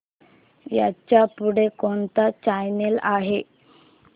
ह्याच्या पुढे कोणता चॅनल आहे